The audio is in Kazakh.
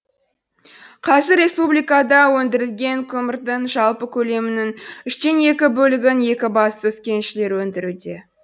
қазір республикада өндірілген көмірдің жалпы көлемінің үштен екі бөлігін екібастұз кеншілері өндіруде